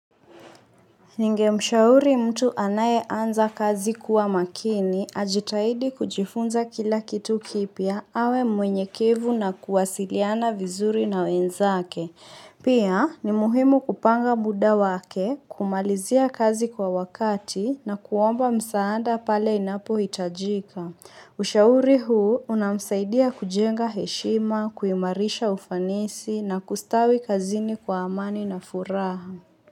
Ningemshauri mtu anaye anza kazi kuwa makini, ajitahidi kujifunza kila kitu kipya, awe mwenye kevu na kuwasiliana vizuri na wenzake. Pia, ni muhimu kupanga muda wake, kumalizia kazi kwa wakati na kuomba msaada pale inapohitajika. Ushauri huu unamsaidia kujenga heshima, kuimarisha ufanisi na kustawi kazini kwa amani na furaha.